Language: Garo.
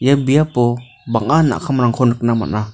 ia biapo bang·a nakamrangko nikna man·a.